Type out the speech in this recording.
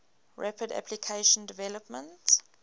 rapid application development